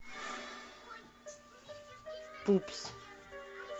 пупс